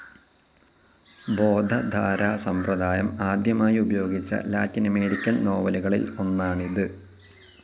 ബോധധാരാ സമ്പ്രദായം ആദ്യമായി ഉപയോഗിച്ച ലാറ്റിനമരിക്കൻ നോവലുകളിൽ ഒന്നാണിത്.